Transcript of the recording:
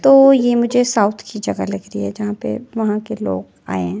तो ये मुझे साउथ की जगह लग रही है जहां पे वहां के लोग आए हैं।